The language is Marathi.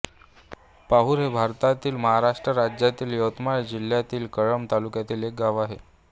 पाहुर हे भारतातील महाराष्ट्र राज्यातील यवतमाळ जिल्ह्यातील कळंब तालुक्यातील एक गाव आहे